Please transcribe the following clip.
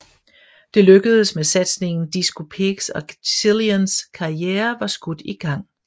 Det lykkedes med satsningen Disco Pigs og Cillians karriere var skudt i gang